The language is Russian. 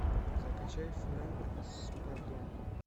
закачай фрэнк спадоне